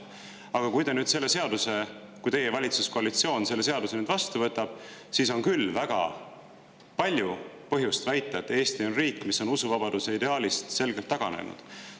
Aga kui teie valitsuskoalitsioon selle seaduse nüüd, siis on küll väga palju põhjust väita, et Eesti on riik, mis on usuvabaduse ideaalist selgelt taganenud.